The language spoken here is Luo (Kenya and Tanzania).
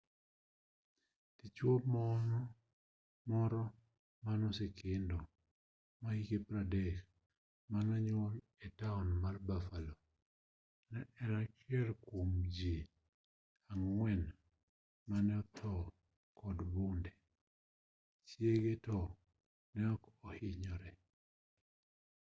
dichuo moro manosekendo mahike 30 manonyuol etaon mar buffalo ne en achiel kuom jii ang'wen mane othoo kod bunde chiege to neok ohinyore